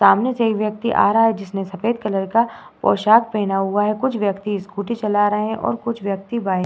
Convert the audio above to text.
सामने से एक व्यक्ति आ रहा हैं जिसने सफेद कलर का पोशाक पहना हुआ है। कुछ व्यत्त्कि स्कूटी चला रहे हैं और कुछ व्यक्ति बाय --